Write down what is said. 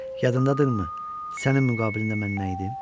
Yadındadırmı sənin müqabilində mən nə idim?